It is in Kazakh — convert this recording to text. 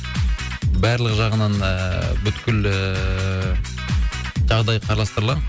барлық жағынан ыыы бүкіл ыыы жағдай қарастырылады